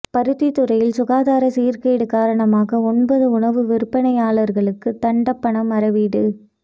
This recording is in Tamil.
பருத்தித்துறையில் சுகாதார சீர்கேடு காரணமாக ஒன்பது உணவு விற்பனையாளர்களுக்கு தண்டப்பணம் அறவீடு